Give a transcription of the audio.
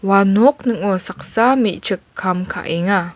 ua nok ning·o saksa me·chik kam ka·enga.